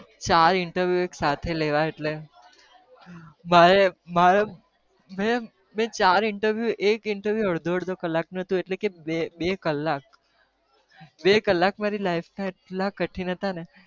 ચાર interview એક સાથે લેવાય એટલે, મારે મારે મેં મેં ચાર interview એક interview અડધો કલાક અડધો કલાકનું હતું એટલે કે બે બે કલાક બે કલાક મારી life ના એટલા કઠીન હતા ને.